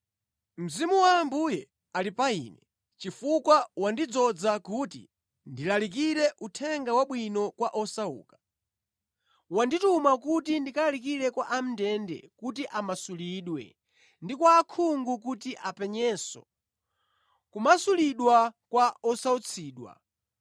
“Mzimu wa Ambuye ali pa Ine; chifukwa wandidzoza kuti ndilalikire Uthenga Wabwino kwa osauka. Wandituma kuti ndilalikire kwa a mʼndende kuti amasulidwe ndi kwa osaona kuti apenyenso, kumasulidwa kwa osautsidwa,